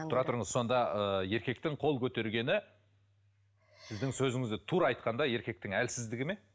тұра тұрыңыз сонда ыыы еркектің қол көтергені сіздің сөзіңізді тура айтқанда еркектің әлсіздігі ме